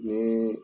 Ni